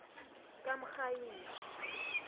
kamrhayili